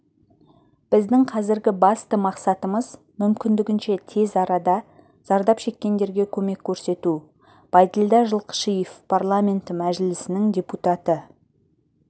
біздің қазіргі басты мақсатымыз мүмкіндігінше тез арада зардап шеккендерге көмек көрсету байділдә жылқышиев парламенті мәжілісінің депутаты